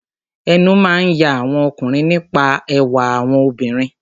Ẹnu máa ń ya àwọn ọkùnrin nípa ẹwà àwọn obìnrin.